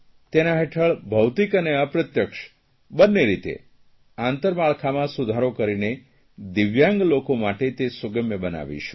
તેના હેઠળ ભૌતિક અને અપ્રત્યક્ષ બન્ને રીતે આંતરમાળખામાં સુધારો કરીને દિવ્યાંગ લોકો માટે તે સુગમ્ય બનાવીશું